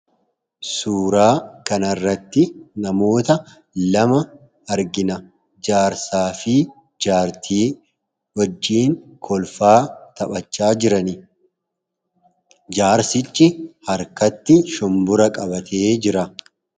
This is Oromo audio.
Suuraa kanarratti namoota lama argina. Jaarsaa fi jaartii wajjin kolfaa, taphachaa jirani. Jaarsichi harkatti shumburaa qabatee jira.